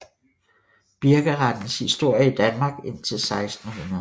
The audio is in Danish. Birkerettens historie i Danmark indtil 1600